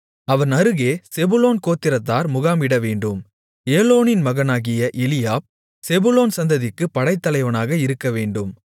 அவன் அருகே செபுலோன் கோத்திரத்தார் முகாமிடவேண்டும் ஏலோனின் மகனாகிய எலியாப் செபுலோன் சந்ததிக்குப் படைத்தலைவனாக இருக்கவேண்டும்